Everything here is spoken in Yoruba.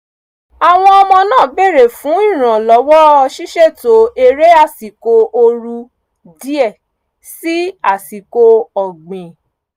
àwọn ọmọ náà bèrè fún ìrànlọ́wọ́ ṣíṣètò eré àsìkò ooru díẹ̀ sí àsìkò ọ̀gbìn